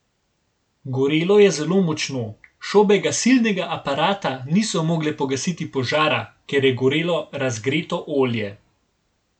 Gorelo je zelo močno, šobe gasilnega aparata niso mogle pogasiti požara, ker je gorelo razgreto olje.